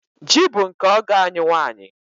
Ji bụ nke ọgọ anyị nwanyị.